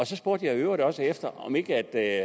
så spurgte jeg i øvrigt også efter om ikke